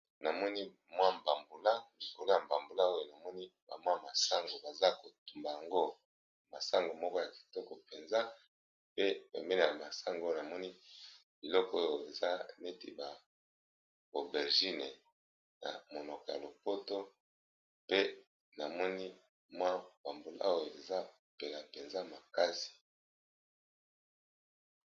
namoni mwa mbambulakolo ya mbambula oyo namoni bamwa masango baza kotumba yango masango moko ya kitoko mpenza pe bemeleya masango oyo namoni liloko oyo eza neti ba abergine na monoko ya lopoto pe namoni mwa mbambula oyo eza pela mpenza makasi